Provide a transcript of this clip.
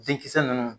Denkisɛ ninnu